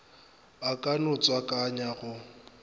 a ka no tswakanya go